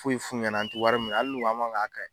Foyi f'u ɲɛna an ti wari min hali n'u ko an b'a fɔ n ko a ka ɲi.